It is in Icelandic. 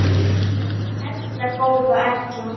Erla góða Erla.